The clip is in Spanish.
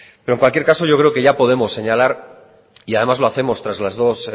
pero en cualquier caso yo creo que ya podemos señalar y además lo hacemos tras las dos